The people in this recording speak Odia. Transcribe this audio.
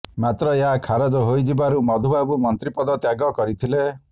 ମାତ୍ର ଏହା ଖାରଜ ହୋଇଯିବାରୁ ମଧୁବାବୁ ମନ୍ତ୍ରୀ ପଦ ତ୍ୟାଗ କରିଥିଲେ